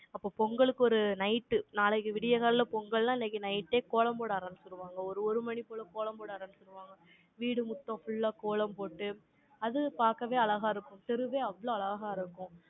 அப்ப பொங்கலுக்கு ஒரு night, நாளைக்கு விடியற்காலையில பொங்கல்ன்னா, இன்னைக்கு night ஏ கோலம் போட ஆரம்பிச்சுடுவாங்க. ஒரு, ஒரு மணி போல கோலம் போட ஆரம்பிச்சிடுவாங்க. வீடு மொத்தம் full ஆ கோலம் போட்டு, அது பார்க்கவே அழகா இருக்கும். தெருவே அவ்வளவு அழகா இருக்கும்